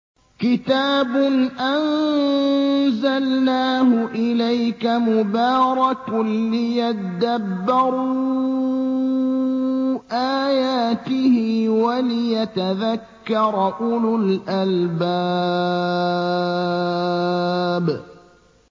كِتَابٌ أَنزَلْنَاهُ إِلَيْكَ مُبَارَكٌ لِّيَدَّبَّرُوا آيَاتِهِ وَلِيَتَذَكَّرَ أُولُو الْأَلْبَابِ